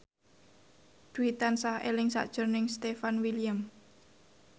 Dwi tansah eling sakjroning Stefan William